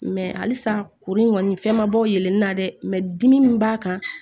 halisa kuru in kɔni fɛn ma bɔ yɛlɛnen na dɛ mɛ dimi min b'a kan